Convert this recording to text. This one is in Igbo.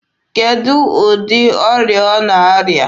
Kedụ ụdị ọrịa ọ na-arịa?